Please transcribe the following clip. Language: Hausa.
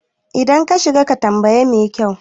idan ka shiga ka tambayi mekyau